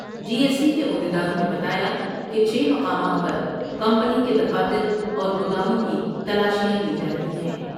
جی S T کے عہد یداروں نے بتایا کہ چھ مقامات پر کمپنی کے دفاتر اور گوداموں کی تلاشیاں لی جارہی ہیں ۔